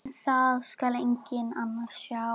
En það skal enginn sjá.